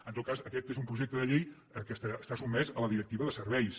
en tot cas aquest és un projecte de llei que està sotmès a la directiva de serveis